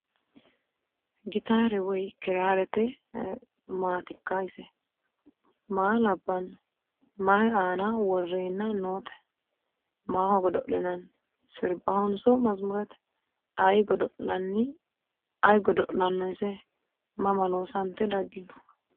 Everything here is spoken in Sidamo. Gittarete woy kiraarette maattikka ise? Maa labbanno? Mayi aanna worrenna nootte? Maho godo'linaanni? Siribahonso masumuurette? Ayi godo'lanno ise? Mama loosante daginno?